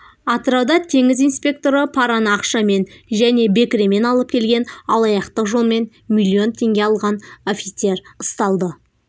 атырауда теңіз инспекторы параны ақшамен және бекіремен алып келген алаяқтық жолмен миллион теңге алған офицер ұсталды